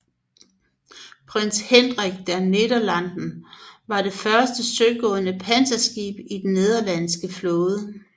Prins Hendrik der Nederlanden var det første søgående panserskib i den nederlandske flåde